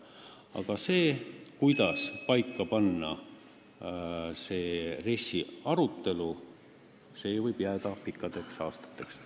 Aga see, kuidas pannakse paika see RES-i arutelu, võib jääda kestma pikkadeks aastateks.